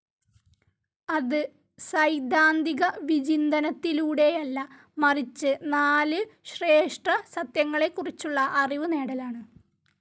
അത് സൈദ്ധാന്തികവിചിന്തനത്തിലൂടെയല്ല, മറിച്ച് നാല് ശ്രേഷ്ഠസത്യങ്ങളെക്കുറിച്ചുള്ള അറിവുനേടലാണ്.